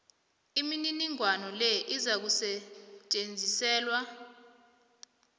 imininingwana le izakusetjenziselwa